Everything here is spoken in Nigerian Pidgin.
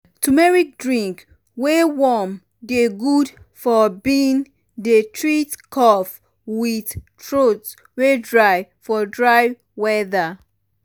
turmeric drink um wey um warm dey good um for bin dey treat cough with throat wey dry for dry weather.